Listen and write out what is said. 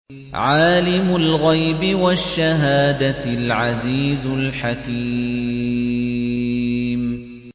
عَالِمُ الْغَيْبِ وَالشَّهَادَةِ الْعَزِيزُ الْحَكِيمُ